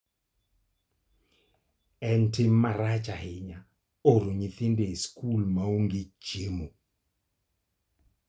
En tim marach ahinya oro nyithindo e skul ma onge chiemo.